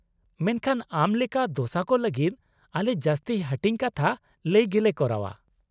-ᱢᱮᱱᱠᱷᱟᱱ ᱟᱢ ᱞᱮᱠᱟ ᱫᱚᱥᱟ ᱠᱚ ᱞᱟᱹᱜᱤᱫ ᱟᱞᱮ ᱡᱟᱹᱥᱛᱤ ᱦᱟᱹᱴᱤᱧ ᱠᱟᱛᱷᱟ ᱞᱟᱹᱭ ᱜᱮᱞᱮ ᱠᱚᱨᱟᱣᱼᱟ ᱾